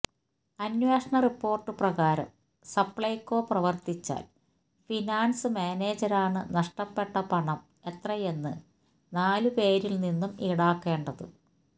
അന്വേഷണ റിപ്പോർട്ട് പ്രകാരം സപ്ളൈകോ പ്രവർത്തിച്ചാൽ ഫിനാൻസ് മാനേജരാണ് നഷ്ടപ്പെട്ട പണം എത്രയെന്ന് നാലുപേരിൽ നിന്നും ഈടാക്കേണ്ടത്